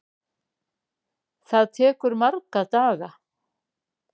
Það tekur marga daga!